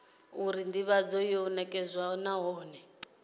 uri ndivhadzo yo nekedzwa nahone